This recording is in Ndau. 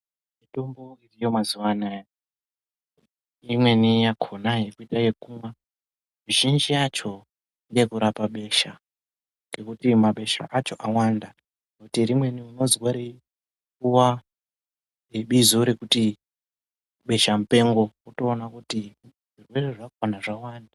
Mitombo yemazuva anaya imweni yakonayo kuite ekumwa, mizhinji yacho ngeye kurapa besha ngekuti mabesha acho awanda ngekuti rimweni unozwa reipuwa bizo rekuti besha mupengo wotoona kuti zvirwere zvakona zvawanda.